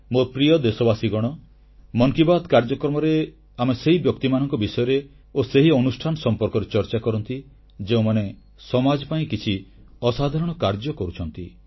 ମୋ ପ୍ରିୟ ଦେଶବାସୀଗଣ ମନ୍ କି ବାତ୍ କାର୍ଯ୍ୟକ୍ରମରେ ଆମେ ସେହି ବ୍ୟକ୍ତିମାନଙ୍କ ବିଷୟରେ ଓ ସେହି ଅନୁଷ୍ଠାନ ସମ୍ପର୍କରେ ଚର୍ଚ୍ଚା କରନ୍ତି ଯେଉଁମାନେ ସମାଜ ପାଇଁ କିଛି ଅସାଧାରଣ କାର୍ଯ୍ୟ କରୁଛନ୍ତି